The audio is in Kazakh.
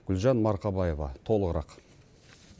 гүлжан марқабаева толығырақ